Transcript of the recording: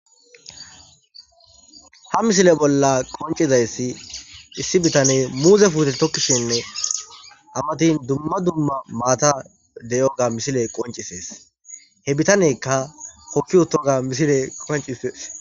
Ha misile bolla qonccizayssi issi bitaney muuze puute tokkishenne a matin dumma dumma maata de'iyoga misiley qonccisees he bitaneykka hokki utooga misiley qonccisees.